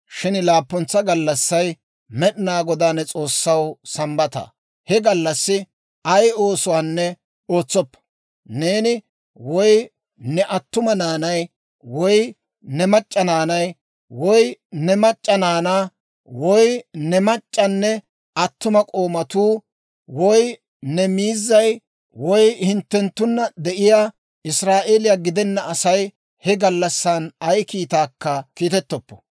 Shin laappuntsa gallassay Med'inaa Godaa ne S'oossaw Sambbata. He gallassi ay oosuwaanne ootsoppa; neeni, woy ne attuma na'ay, woy ne mac'c'a naanaa, woy ne mac'c'anne attuma k'oomatuu, woy ne miizzay, woy hinttenttunna de'iyaa Israa'eeliyaa gidena Asay he gallassan ay kiitaakka kiitettoppo.